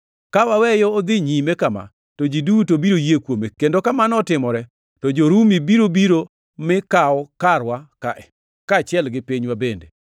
Ka waweye odhi nyime kama, to ji duto biro yie kuome, kendo kamano otimore to jo-Rumi biro biro mi kaw karwa ka, kaachiel gi pinywa bende.”